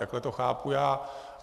Takhle to chápu já.